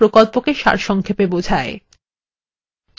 এটি কথ্য tutorial প্রকল্পটিকে সারসংক্ষেপে বোঝায়